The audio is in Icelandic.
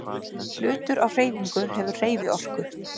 Hlutur á hreyfingu hefur hreyfiorku.